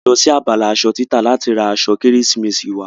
A lọ sí abala asọ títà láti ra asọ kérésìmesì wa